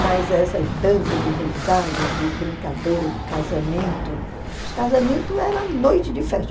Mas essas danças de reisado, de brincadeira, de casamento, os casamentos era a noite de festa.